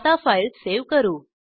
आता file save करू